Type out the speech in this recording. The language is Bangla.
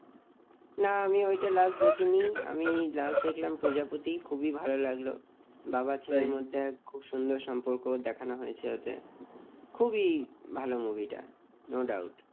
না আমি ওটা last দেখিনি আমি last দেখলাম প্রজাপতি খুবই ভালো লাগলো বাবার ছেলের মধ্যে খুব সুন্দর সম্পর্ক দেখানো হয়েছে ওটা খুবই ভালো move টা no doubt